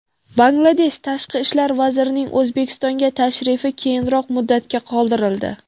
Bangladesh tashqi ishlar vazirining O‘zbekistonga tashrifi keyinroq muddatga qoldirildi.